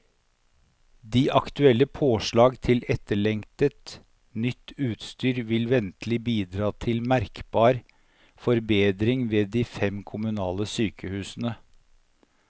De aktuelle påslag til etterlengtet, nytt utstyr vil ventelig bidra til merkbar forbedring ved de fem kommunale sykehusene.